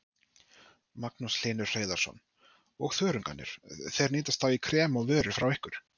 Magnús Hlynur Hreiðarsson: Og þörungarnir, þeir nýtast þá í krem og vörur frá ykkur?